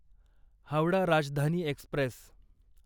Howrah Rajdhani Express